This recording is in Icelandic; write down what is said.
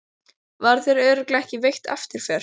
Var þér örugglega ekki veitt eftirför?